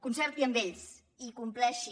concerti amb ells i compleixi